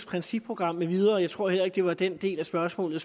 principprogram med videre jeg tror heller ikke det var den del af spørgsmålet